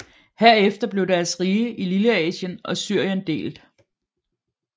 Herefter blev deres rige i Lilleasien og Syrien delt